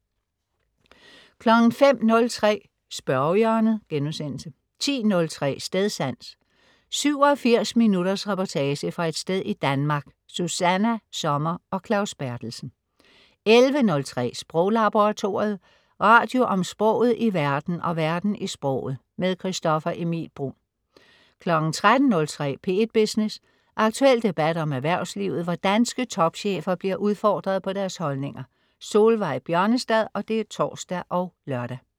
05.03 Spørgehjørnet* 10.03 Stedsans. 87 minutters reportage fra et sted i Danmark. Susanna Sommer og Claus Berthelsen 11.03 Sproglaboratoriet. Radio om sproget i verden og verden i sproget. Christoffer Emil Bruun 13.03 P1 Business. Aktuel debat om erhvervslivet, hvor danske topchefer bliver udfordret på deres holdninger. Solveig Bjørnestad (tors og lør)